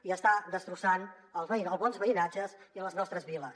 i està destrossant els bons veïnatges i les nostres viles